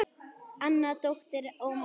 Anna dóttir Ómars.